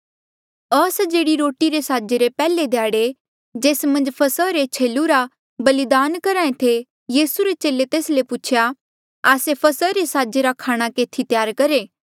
अस्जेह्ड़ी रोटी रे साजे रे पैहले ध्याड़े जेस मन्झ फसहा रे छेलू रा बलिदान करहा ऐें थे यीसू रे चेले तेस ले पूछेया आस्से फसहा रे साजे रा खाणा केथी त्यार करहे